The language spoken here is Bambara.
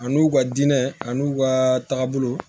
Ani u ka dinɛ ani u ka taabolo